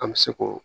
An bɛ se k'o